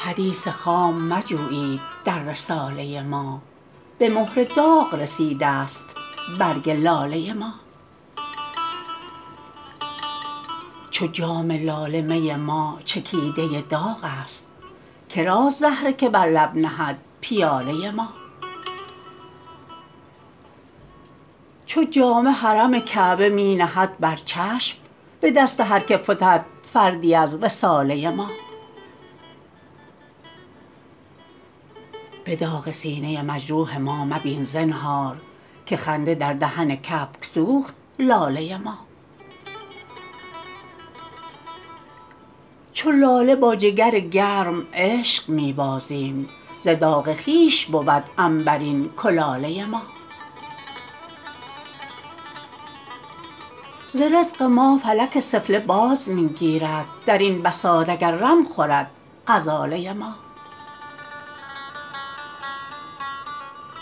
حدیث خام مجویید در رساله ما به مهر داغ رسیده است برگ لاله ما چو جام لاله می ما چکیده داغ است کراست زهره که بر لب نهد پیاله ما چو جامه حرم کعبه می نهد بر چشم به دست هر که فتد فردی از رساله ما به داغ سینه مجروح ما مبین زنهار که خنده در دهن کبک سوخت لاله ما چو لاله با جگر گرم عشق می بازیم ز داغ خویش بود عنبرین کلاله ما ز رزق ما فلک سفله باز می گیرد درین بساط اگر رم خورد غزاله ما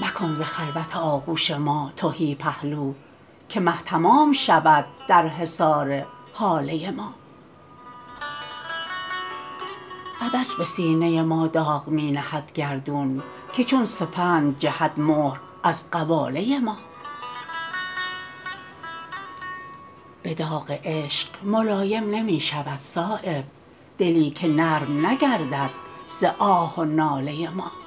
مکن ز خلوت آغوش ما تهی پهلو که مه تمام شود در حصار هاله ما عبث به سینه ما داغ می نهد گردون که چون سپند جهد مهر از قباله ما به داغ عشق ملایم نمی شود صایب دلی که نرم نگردد ز آه و ناله ما